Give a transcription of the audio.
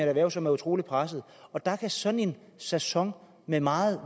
erhverv som er utrolig presset der kan sådan en sæson med meget